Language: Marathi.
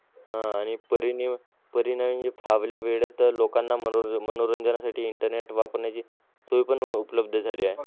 आह आणि परि परिणामी म्हणजे वेळेत लोकांना मनोरं मनोरंजनासाठी internet वापरण्याची सोय पण उपलब्ध झालेली आहे.